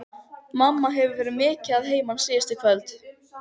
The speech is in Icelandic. Mamma hefur verið mikið að heiman síðustu kvöld.